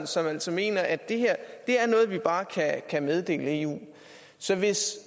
som altså mener at det her er noget vi bare kan meddele eu så hvis